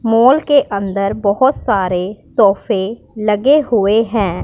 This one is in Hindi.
मॉल के अंदर बहुत सारे सोफे लगे हुए हैं।